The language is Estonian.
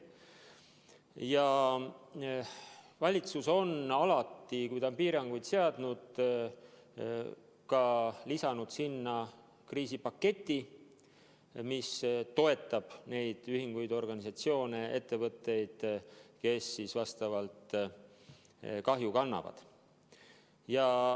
Ja valitsus on alati, kui ta on piiranguid seadnud, lisanud ka kriisipaketi, mis toetab neid ühinguid, organisatsioone, ettevõtteid, kes rohkem kahju kannavad.